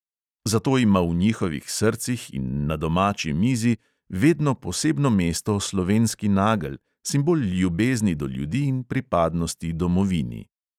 Zato ima v njihovih srcih in na domači mizi vedno posebno mesto slovenski nagelj, simbol ljubezni do ljudi in pripadnosti domovini.